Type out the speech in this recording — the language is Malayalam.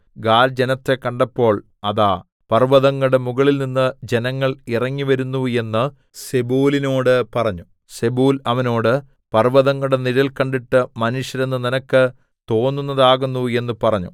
ഗാല്‍ ജനത്തെ കണ്ടപ്പോൾ അതാ പർവ്വതങ്ങളുടെ മുകളിൽനിന്ന് ജനങ്ങൾ ഇറങ്ങിവരുന്നു എന്ന് സെബൂലിനോടു പറഞ്ഞു സെബൂൽ അവനോട് പർവ്വതങ്ങളുടെ നിഴൽ കണ്ടിട്ട് മനുഷ്യരെന്ന് നിനക്ക് തോന്നുന്നതാകുന്നു എന്ന് പറഞ്ഞു